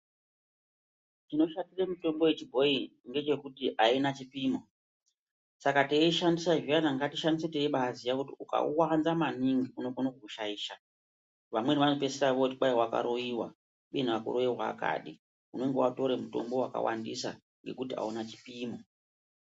Chinoshatire mitombo yechibhoi ngechekuti haina chipimo. Saka teeshandisa zviyana ngatishandise teibauziya kuti tikauvanza maningi unokona kutishaisha. Vamweni vanopedzisira voti kwai vakaroiwa iyena kuroiva kakadi unenge vatora mutombo vakavandisa ngekuti hauna chipimo.